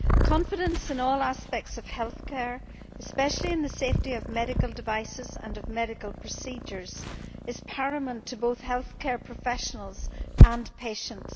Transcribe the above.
Confidence in all aspects of health care, especially in the safety of medical devices and of medical procedures, is paramount to both healthcare professionals and patients.